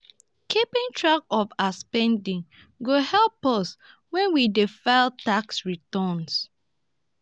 keeping track of our spending go help us when we dey file tax returns.